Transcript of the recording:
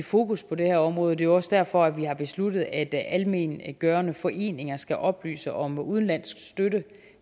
fokus på det her område det er jo også derfor vi har besluttet at almenvelgørende foreninger skal oplyse om udenlandsk støtte